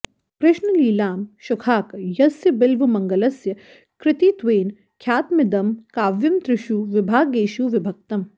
कृष्णलीलांशुकाख्यस्य बिल्वमङ्गलस्य कृतित्वेन ख्यातमिदं काव्यं त्रिषु विभागेषु विभक्तम्